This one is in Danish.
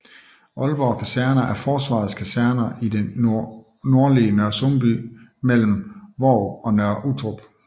Aalborg Kaserner er Forsvarets kaserner i det nordlige Nørresundby mellem Hvorup og Nørre Uttrup